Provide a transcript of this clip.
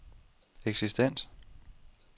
eksistens